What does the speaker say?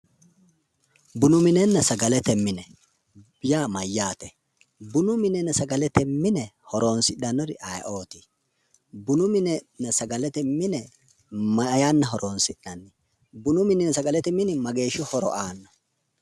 Bunu minenna sagalete mine yaa mayyaate? bunu minenna sagalete mine horonsi'nanniri ayeeooti? bunu minenna sagalete mine maa yanna horonsi'nanni? bunu minenna sagalete min mageeshshi horo aanno?